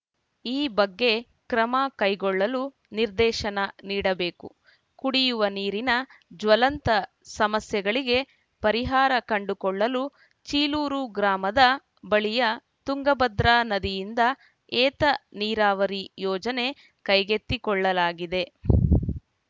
ಈ ಬಗ್ಗೆ ಕ್ರಮ ಕೈಗೊಳ್ಳಲು ನಿರ್ದೇಶನ ನೀಡಬೇಕು ಕುಡಿಯುವ ನೀರಿನ ಜಲ್ವಂತ ಸಮಸ್ಯೆಗಳಿಗೆ ಪರಿಹಾರ ಕಂಡುಕೊಳ್ಳಲು ಚೀಲೂರು ಗ್ರಾಮದ ಬಳಿಯ ತುಂಗಭದ್ರಾ ನದಿಯಿಂದ ಏತ ನೀರಾವರಿ ಯೋಜನೆ ಕೈಗೆತ್ತಿಕೊಳ್ಳಲಾಗಿದೆ